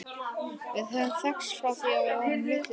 Við höfum þekkst frá því að við vorum litlir strákar.